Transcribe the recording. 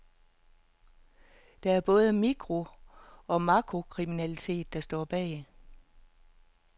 Det er både mikro og makrokriminalitet, der står bag.